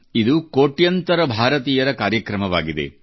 ಇದು ಕೋಟ್ಯಾಂತರ ಭಾರತೀಯರ ಕಾರ್ಯಕ್ರಮವಾಗಿದೆ